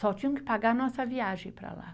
Só tinham que pagar a nossa viagem para lá.